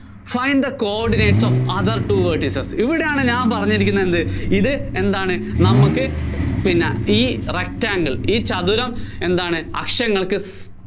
find the coordinates of other two vertices ഇവിടെയാണ് ഞാന്‍ പറഞ്ഞിരിക്കുന്നതെന്ത്, എന്താണ് നമുക്ക് പിന്നെ ഈ rectangle ഈ ചതുരം എന്താണ് അക്ഷങ്ങള്‍ക്ക്